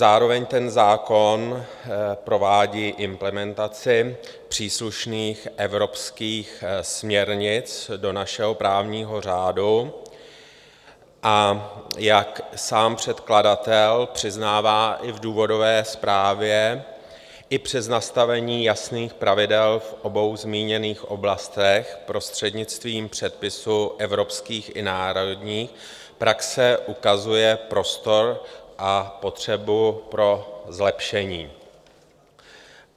Zároveň ten zákon provádí implementaci příslušných evropských směrnic do našeho právního řádu, a jak sám předkladatel přiznává i v důvodové zprávě, i přes nastavení jasných pravidel v obou zmíněných oblastech prostřednictvím předpisů evropských i národních praxe ukazuje prostor a potřebu pro zlepšení.